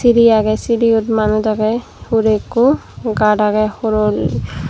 siri aage siri yot manuj aage hure ekko gad aage horoli.